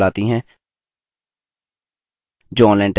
spoken tutorials का उपयोग करके कार्यशालाएँ भी चलाती है